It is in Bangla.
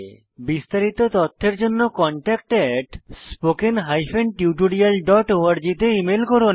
বিস্তারিত তথ্যের জন্য contactspoken tutorialorg তে ইমেল করুন